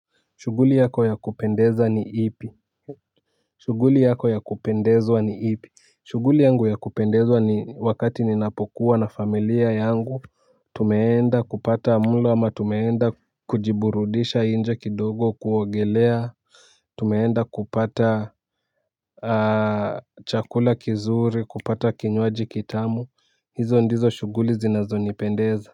Shuguli yako ya kupendeza ni ipi. Shuguli yako ya kupendezwa ni ipi. Shuguli yangu ya kupendezwa ni wakati ninapokuwa na familia yangu. Tumeenda kupata mlo ama tumeenda kujiburudisha inje kidogo kuogelea. Tumeenda kupata chakula kizuri kupata kinywaji kitamu. Hizo ndizo shuguli zinazo nipendeza.